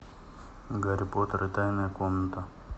гарри поттер и тайная комната